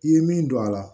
I ye min don a la